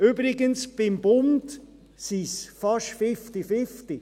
Übrigens: Beim Bund ist es fast fifty-fifty.